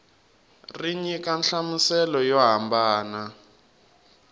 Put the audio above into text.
ri nyika nhlamuselo yo hambana